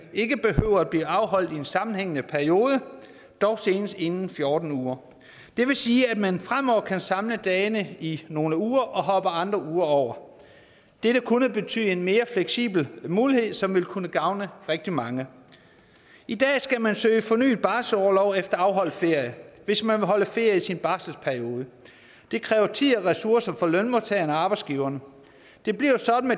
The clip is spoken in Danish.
ikke behøver at blive afholdt i en sammenhængende periode dog senest inden fjorten uger det vil sige at man fremover kan samle dagene i nogle uger og hoppe andre uger over dette kunne betyde en mere fleksibel mulighed som vil kunne gavne rigtig mange i dag skal man søge om fornyet barselsorlov efter afholdt ferie hvis man vil holde ferie i sin barselsperiode det kræver tid og ressourcer for lønmodtagerne og arbejdsgiverne det bliver sådan